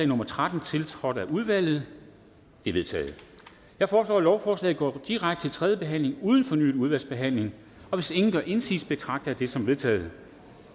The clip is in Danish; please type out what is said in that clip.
nummer tretten tiltrådt af udvalget det er vedtaget jeg foreslår at lovforslaget går direkte til tredje behandling uden fornyet udvalgsbehandling hvis ingen gør indsigelse betragter jeg det som vedtaget